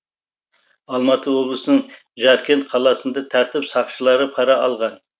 алматы облысының жаркент қаласында тәртіп сақшылары пара алған